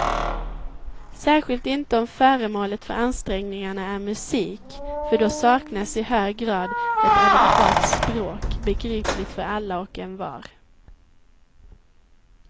Särskilt inte om föremålet för ansträngningarna är musik, för då saknas i hög grad ett adekvat språk, begripligt för alla och envar.